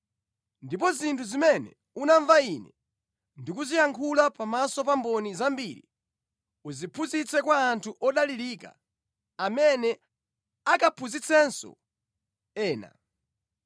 Ndipo zinthu zimene unamva ine ndikuziyankhula pamaso pa mboni zambiri, uziphunzitse kwa anthu odalirika amene akaphunzitsenso ena.